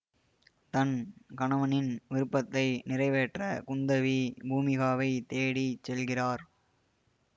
தன் கணவனின் விருப்பத்தை நிறைவேற்ற குந்தவி பூமிகாவைத் தேடி செல்கிறார்